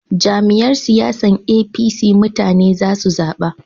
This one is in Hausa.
Jam'iyyar siyasan APC mutane za su zaba